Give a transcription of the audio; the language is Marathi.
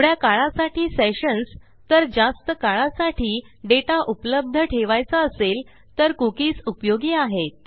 थोड्या काळासाठी सेशन्स तर जास्त काळासाठी डेटा उपलब्ध ठेवायचा असेल तर कुकीज उपयोगी आहेत